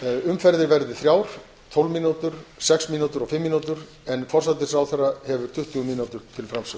umferðir verði þrjár tólf mínútur sex mínútur og fimm mínútur en forsætisráðherra hefur tuttugu mínútur til framsögu